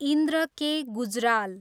Indra K. Gujral